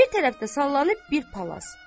Bir tərəfdə sallanıb bir palaz.